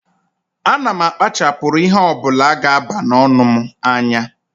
A na m akpachapuru ihe ọ bụla ga aba n'ọnụ m anya